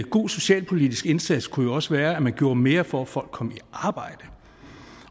god socialpolitisk indsats kunne jo også være at man gjorde mere for at folk kom i arbejde